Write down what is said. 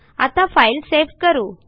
आता file save करू